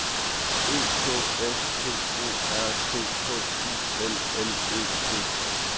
E K S P O R T H U L L E T